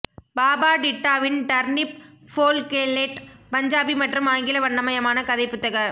பாபா டிட்டாவின் டர்னிப் ஃபோல்கேல்லேட் பஞ்சாபி மற்றும் ஆங்கில வண்ணமயமான கதை புத்தக